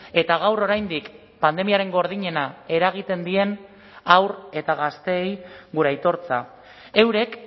eta gaur oraindik pandemiaren gordinena eragiten dien haur eta gazteei gure aitortza eurek